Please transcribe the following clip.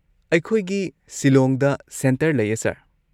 ꯑꯩꯈꯣꯏꯒꯤ ꯁꯤꯂꯣꯡꯗ ꯁꯦꯟꯇꯔ ꯂꯩꯌꯦ, ꯁꯔ꯫